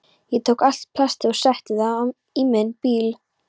Ég tók allt plastið og setti það í minn bíl.